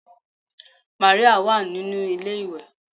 Mary wa ninu ilé iwe